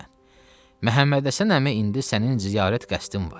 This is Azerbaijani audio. Məsələn, Məhəmməd Həsən əmi, indi sənin ziyarət qəsdin var.